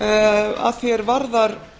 að því er varðar